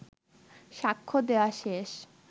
সাক্ষ্য দেয়া শেষ